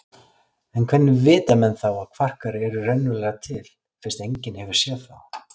En hvernig vita menn þá að kvarkar eru raunverulega til fyrst enginn hefur séð þá?